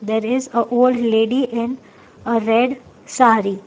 There is a old lady in a red saree.